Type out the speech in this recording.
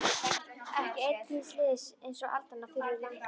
Ekki einn þíns liðs einsog aldan á þurru landi.